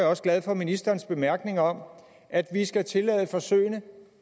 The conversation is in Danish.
også glad for ministerens bemærkning om at vi skal tillade forsøgene og